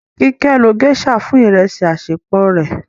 Kíké ló geisha fún ìrẹsì àṣẹpò rẹ.